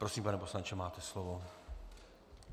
Prosím, pane poslanče, máte slovo.